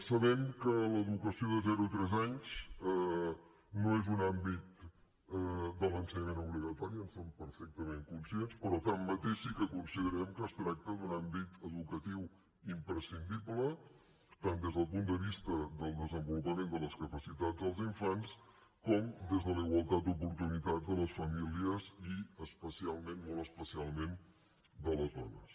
sabem que l’educació de zero a tres anys no és un àmbit de l’ensenyament obligatori en som perfectament conscients però tanmateix sí que considerem que es tracta d’un àmbit educatiu imprescindible tant des del punt de vista del desenvolupament de les capacitats dels infants com des de la igualtat d’oportunitats de les famílies i especialment molt especialment de les dones